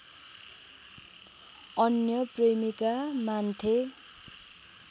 अनन्य प्रेमिका मान्थे